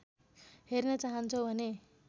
हेर्न चाहन्छौ भने